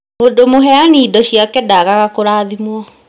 Mũndũ mũheani indo ciake ndaagaga kũrathimwo